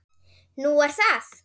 Nú er það?